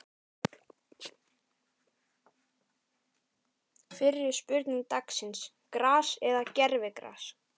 Fyrri spurning dagsins: Gras eða gervigras?